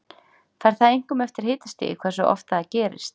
Fer það einkum eftir hitastigi hversu oft það gerist.